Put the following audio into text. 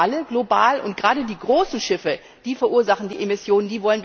Das sagen alle global und gerade die großen Schiffe verursachen die Emissionen.